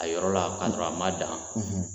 A yɔrɔ la kasɔrɔ a ma dan